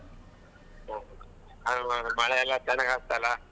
ಓ ಹಾಗಾದ್ರೆ ಮಳೆ ಎಲ್ಲಾ ಚೆನ್ನಾಗ್ ಆಗ್ತಲ್ಲಾ.